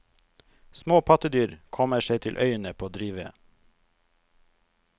Små pattedyr kommer seg til øyene på drivved.